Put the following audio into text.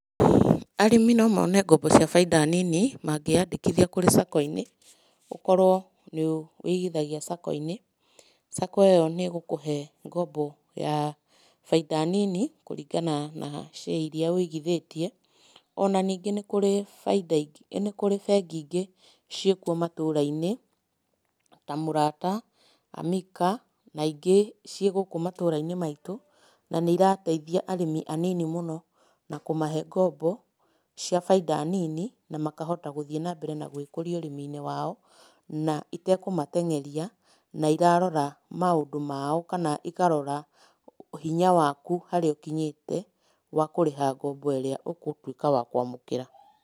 Arĩmi no mone ngombo cĩa baida nĩnĩ, mangĩyandĩkithia kũri sacco-ĩnĩ. Ũkorwo nĩ wĩigĩthagia sacco-ĩnĩ, sacco ĩyo nĩ ĩgũkuhe ngombo ya baida nĩnĩ kuringana na share ĩrĩa wĩigithĩtie ona nĩngi nĩ kũrĩ baida.....nĩ kũrĩ bengi ĩngĩ cĩkwo matũura-ĩnĩ ta murata ,Amika na ĩnge cĩe gũkũ matũura-ĩnĩ maĩtu na nĩ ĩrateithia arĩmi anĩnĩ mũno na kũmahe ngombo cĩa baida nĩnĩ na makahota gũthĩi na mbere gũikũria urĩmi-ĩnĩ wao, na ĩtakumateng'eria na ĩrarora maũndũ mao kana ĩkarora hinya wakũ harĩa ukĩnyĩte wa kũrĩha ngombo ĩrĩa ũgutũika wa kwamũkĩra.